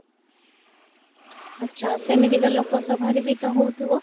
ଆଚ୍ଛା ସେମିତିକା ଲୋକସଭାରେ ବି ତ ହଉଥିବ?